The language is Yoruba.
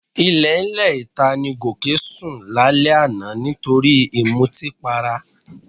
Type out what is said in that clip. Ilẹ̀ẹ́lẹ̀ ìta ni Gòkè sún lálẹ́ àná nítorí ìmutípara